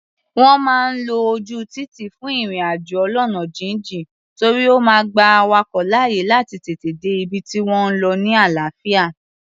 Wọ́n máa ń lo ojú títì fún ìrìn-àjò ọlọ́nà jínjìn, torí ó máa gba awakọ̀ láàyè láti tètè dé ibi tí wọ́n ń lọ ni àlàáfíà.